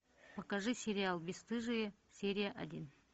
покажи сериал бесстыжие серия один